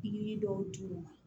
Pikiri dɔw d'u ma